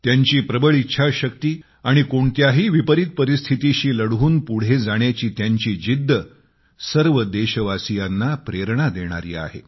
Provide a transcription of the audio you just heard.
त्यांची प्रबळ इच्छाशक्ती आणि कोणत्याही विपरीत परिस्थितीशी लढून पुढे जाण्याची त्यांची जिद्द सर्व देशवासियांना प्रेरणा देणारी आहे